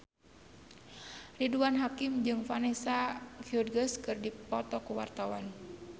Ridwan Kamil jeung Vanessa Hudgens keur dipoto ku wartawan